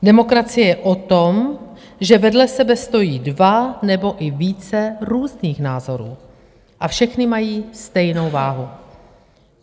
Demokracie je o tom, že vedle sebe stojí dva nebo i více různých názorů a všechny mají stejnou váhu.